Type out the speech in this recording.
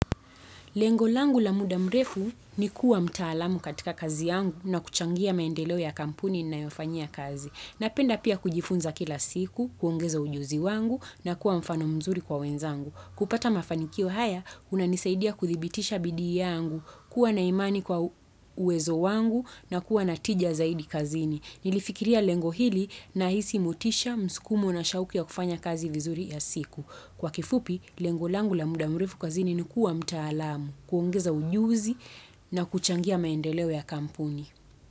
Lengo langu la muda mrefu ni kuwa mtaalamu katika kazi yangu na kuchangia maendeleo ya kampuni ninayofanyia kazi. Napenda pia kujifunza kila siku, kuongeza ujuzi wangu na kuwa mfano mzuri kwa wenzangu. Kupata mafanikio haya, kunanisaidia kuthibitisha bidii yangu, kuwa na imani kwa uwezo wangu na kuwa na tija zaidi kazini. Nilifikiria lengo hili na hii si motisha, mskumo na shauku ya kufanya kazi vizuri ya siku. Kwa kifupi, lengo langu la muda murefu kazini nikuwa mtaalamu, kuongeza ujuzi na kuchangia maendeleo ya kampuni.